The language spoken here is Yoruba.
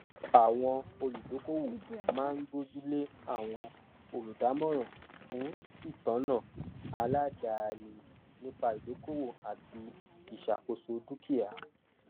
àwọn olùdókòwò máa ń gbójú lé àwọn olùdámọràn fún ìtọná aládàáni nípa ìdókòwò àti ìṣàkóso dukia